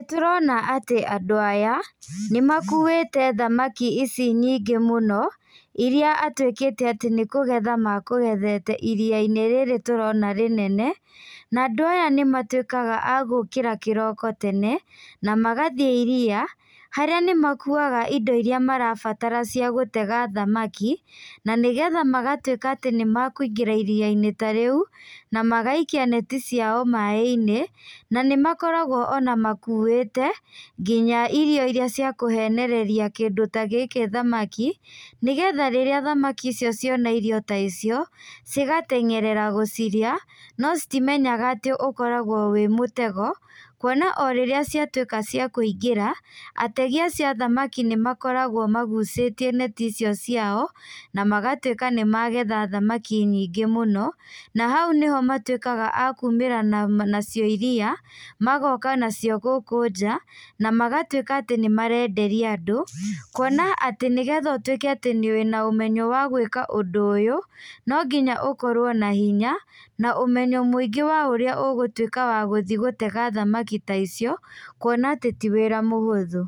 Tũrona atĩ andũ aya, nĩmakuĩte thamaki ici nyingĩ mũno, iria atuĩkĩte atĩ nĩkũgetha makũgethete iria-inĩ rĩrĩ tũrona rĩnene, na andũ aya nĩmatuĩkaga agũkĩra kĩroko tene, namagathiĩ iria, harĩa nĩmakuaga indo iria marabatara cia gũtega thamaki, na nĩgetha magatuĩka atĩ nĩmakuingĩra iria-inĩ ta rĩu, namagaikia neti ciao maĩ-inĩ, na nĩmakoragwo ona makuĩte, nginya irio iria cia kũhenereria kĩndũ ta gĩkĩ thamaki, nĩgetha rĩrĩa thamaki icio ciona irio ta icio, cigatengerera gũcirĩa, no citimenya atĩ ũkoragwo wĩ mũtego, kuona o rĩrĩa ciatuĩka cia kũingĩra, ategi acio a thamaki nĩmakoragwo magucĩtie neti icio ciao, namagatuĩka nĩ magetha thamaki nyingĩ mũno, na hau nĩho matuĩkaga a kumĩra na nacio iria, magoka nacio gũkũ nja, na magatuĩka atĩ nĩmarenderia andũ, kuona atĩ nĩgetha ũtuĩke atĩ wĩna ũmenyo wa gwĩka ũndũ ũyũ, no nginya ũkorwo na hinya, na ũmenyo mũingĩ wa ũrĩa ũgũtuĩka wa gũthiĩ gũtega thamaki ta icio, kuona atĩ ti wĩra mũhũthũ.